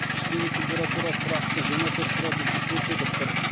іштегі температура тұрақты жиырма төрт градусты көрсетіп тұр